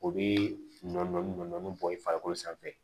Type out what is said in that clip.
O bɛ nɔɔni nɔni bɔn i farikolo sanfɛ